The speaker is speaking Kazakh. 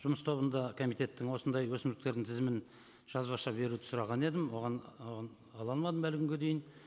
жұмыс тобында комитеттің осындай өсімдіктердің тізімін жазбаша беруді сұраған едім оған оны ала алмадым әлі күнге дейін